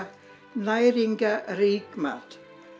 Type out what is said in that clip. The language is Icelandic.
næringarríkan mat